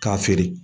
K'a feere